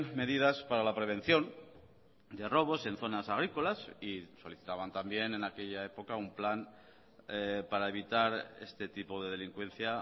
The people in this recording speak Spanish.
medidas para la prevención de robos en zonas agrícolas y solicitaban también en aquella época un plan para evitar este tipo de delincuencia